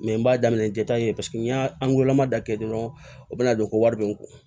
n b'a daminɛ ja ta nin ye paseke ni y'a lamada kɛ dɔrɔn o bɛ na don ko wari bɛ n kun